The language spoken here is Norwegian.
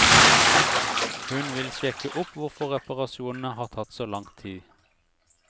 Hun vil sjekke opp hvorfor reparasjonene har tatt så lang tid.